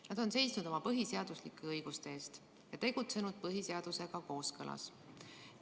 Nad on seisnud oma põhiseaduslike õiguste eest ja tegutsenud põhiseadusega kooskõlas.